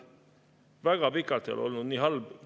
Väga pikalt ei ole olnud nii halb.